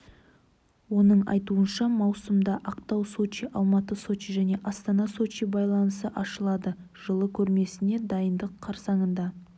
оның айтуынша маусымда ақтау сочи алматы сочи және астана сочи байланысы ашылады жылы көрмесіне дайындық қарсаңында